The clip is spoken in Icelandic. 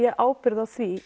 ábyrgð á því